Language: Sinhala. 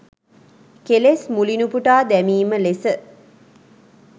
කෙලෙස් මුලිනුපුටා දැමීම ලෙස